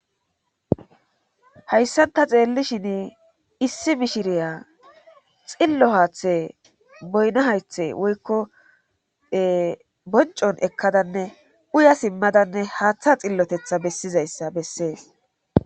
Hayssanta xeellishin issi mishiriya xillo haaththe boyno haythe woykko boncon ekkadanne uya simmadanne haaththa xillotetha bessizayssa bessees